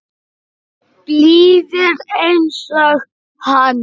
Blíðir einsog hann.